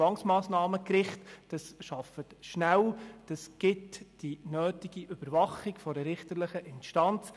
Das Zwangsmassnahmengericht arbeitet schnell, und dadurch besteht eine Überwachung durch eine richterliche Instanz.